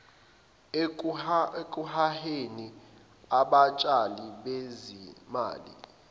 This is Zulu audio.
ekuheheni abatshali bezimali